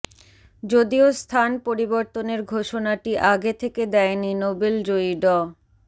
যদিও স্থান পরিবর্তনের ঘোষণাটি আগে থেকে দেয়নি নোবেল জয়ী ড